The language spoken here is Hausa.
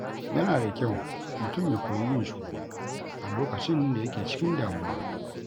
Yana da kyau mutum ya koyi yin shiru a lokacin da yake cikin damuwa.